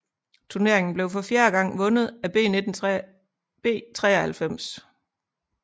Turneringen blev for fjerde gang vundet af B 93